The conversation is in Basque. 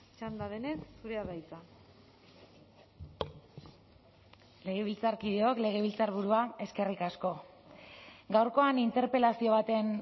txanda denez zurea da hitza legebiltzarkideok legebiltzarburua eskerrik asko gaurkoan interpelazio baten